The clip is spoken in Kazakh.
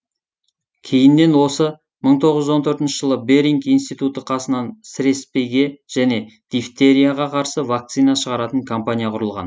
кейіннен осы мың тоғыз жүз он төртінші жылы беринг институты қасынан сіреспеге және дифтерияға қарсы вакцина шығаратын компания құрылған